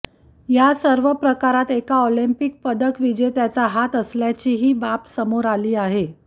या सर्व प्रकारात एका ऑलिम्पिक पदकविजेत्याचा हात असल्याची बाबही समोर आली आहे